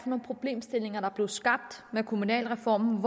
nogle problemstillinger der blev skabt med kommunalreformen